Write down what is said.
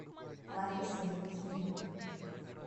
лариса евгеньевна